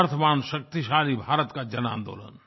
सामर्थ्यवानशक्तिशाली भारत का जनआन्दोलन